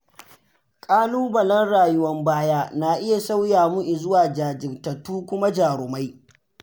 Ƙalubalen rayuwar baya na iya sauya mu izuwa jajirtattu kuma jarumai.